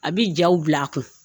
A bi jaw bila a kun.